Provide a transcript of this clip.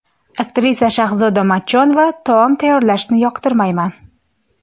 Aktrisa Shahzoda Matchonova: Taom tayyorlashni yoqtirmayman.